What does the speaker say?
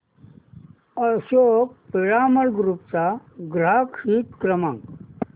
Ashok Piramal group चा ग्राहक हित क्रमांक